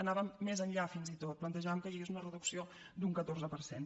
anàvem més enllà fins i tot plantejàvem que hi hagués una reducció d’un catorze per cent